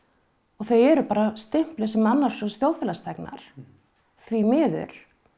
og þau eru bara stimpluð sem annars flokks þjóðfélagsþegnar því miður